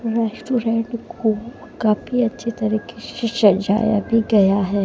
Restaurant को काफी अच्छी तरीके से सजाया भी गया है।